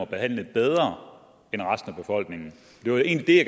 behandlet bedre end resten af befolkningen det var egentlig det